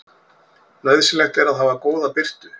Nauðsynlegt er að hafa góða birtu.